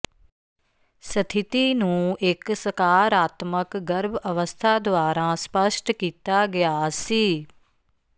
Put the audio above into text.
ਸਥਿਤੀ ਨੂੰ ਇੱਕ ਸਕਾਰਾਤਮਕ ਗਰਭ ਅਵਸਥਾ ਦੁਆਰਾ ਸਪੱਸ਼ਟ ਕੀਤਾ ਗਿਆ ਸੀ